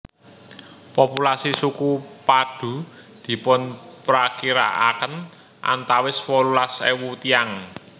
Populasi suku Padoe dipunprakirakaken antawis wolulas ewu tiyang